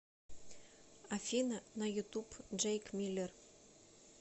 афина на ютуб джейк миллер